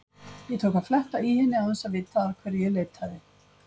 Ég tók að fletta í henni án þess að vita að hverju ég leitaði.